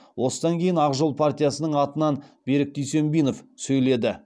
осыдан кейін ақ жол партиясының атынан берік дүйсенбинов сөйледі